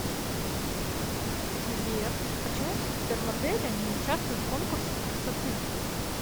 сбер почему супермодели не участвуют в конкурсах красоты